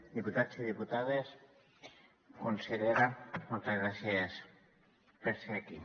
diputats i diputades consellera moltes gràcies per ser aquí